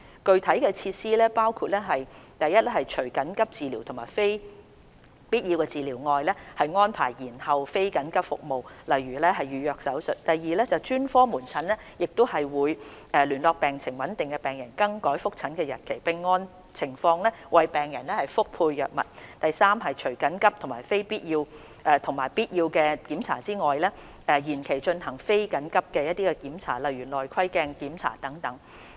具體措施包括： 1除緊急治療及必要治療外，安排延後非緊急服務，例如預約手術； 2專科門診會聯絡病情穩定的病人更改覆診日期，並按情況為病人覆配藥物；及3除緊急及必要檢查外，延期進行非緊急的檢查，如例行內窺鏡檢查等。